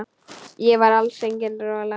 Ég var alls engin rola.